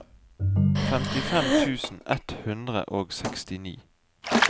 femtifem tusen ett hundre og sekstini